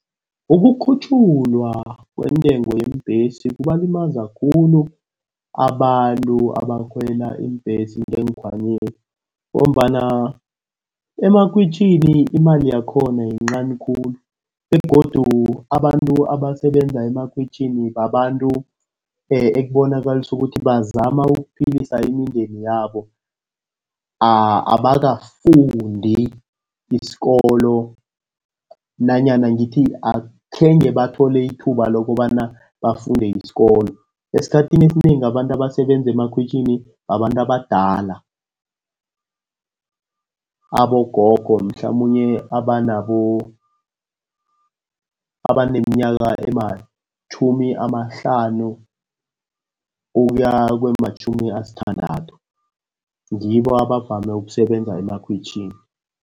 Ukukhutjhulwa kwentengo yeembhesi kubalimaza khulu abantu abakhwela iimbhesi ngeenkhwanyeni, ngombana emakhwitjhini imali yakhona yincani khulu, begodu abantu abasebenza emakhwitjhini babantu ekubonakalisa ukuthi bazama ukuphilisa imindeni yabo. Abakafundi isikolo, nanyana ngithi akhenge bathole ithuba lokobana bafunde isikolo. Esikhathini esinengi abantu abasebenza emakhwitjhini, babantu abadala. Abogogo mhlamunye abaneminyaka ematjhumi amahlanu ukuya kwematjhumi asithandathu, ngibo abavame ukusebenza emakhwitjhini.